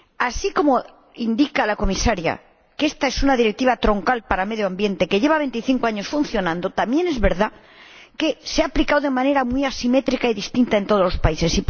Así como indica la Comisaria que esta es una directiva troncal para medio ambiente, que lleva veinticinco años funcionando, también es verdad que se ha aplicado de manera muy asimétrica y distinta en todos los países.